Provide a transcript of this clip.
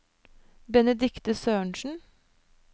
Benedikte Sørensen